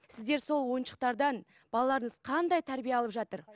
сіздер сол ойыншықтардан балаларыңыз қандай тәрбие алып жатыр